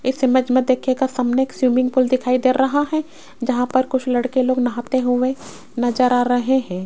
इस इमेज में देखिएगा सामने स्विमिंग पूल दिखाई दे रहा है जहां पर कुछ लड़के लोग नहाते हुए नजर आ रहे है।